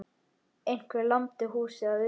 Einhver lamdi húsið að utan.